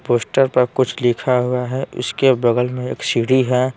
Poster पर कुछ लिखा हुआ हैं उसके बगल में एक सीढ़ी हैं।